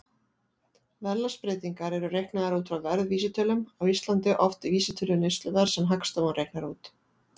Verðlagsbreytingar eru reiknaðar út frá verðvísitölum, á Íslandi oftast vísitölu neysluverðs sem Hagstofan reiknar út.